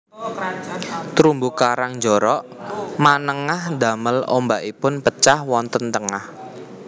Terumbu karang njorok manengah ndamel ombakipun pecah wonten tengah